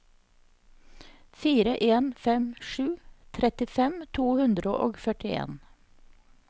fire en fem sju trettifem to hundre og førtien